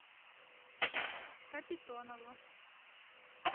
капитонову